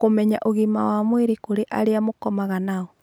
Kũmenya ũgima wa mwĩrĩ kũrĩ arĩa mũkomaga nao